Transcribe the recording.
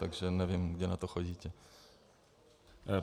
Takže nevím, kde na to chodíte.